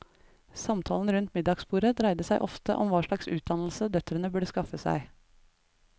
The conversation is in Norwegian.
Samtalen rundt middagsbordet dreide seg ofte om hva slags utdannelse døtrene burde skaffe seg.